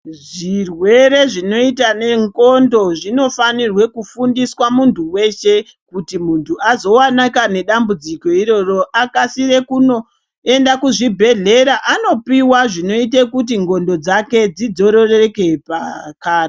Zvirwere zvinoita nendxondo zvinofanirwe kufundiswa muntu weshe kuti muntu azowanika nedambudziko iroro akasire kuzoenda kuzvibhedhlera andopuwa zvinoita kuti ndxondo dzake dzidzorereke pakare.